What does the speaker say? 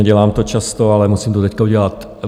Nedělám to často, ale musím to teď udělat.